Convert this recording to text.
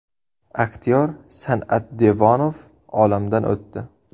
Aktyor San’at Devonov olamdan o‘tdi.